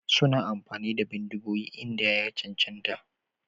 Suna amfani da bindigogi idan ya cancanta.